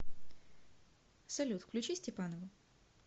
салют включи степанову